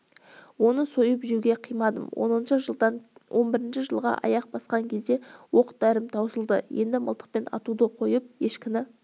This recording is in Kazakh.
оны сойып жеуге қимадым оныншы жылдан он бірінші жылға аяқ басқан кезде оқ-дәрім таусылды енді мылтықпен атуды қойып ешкіні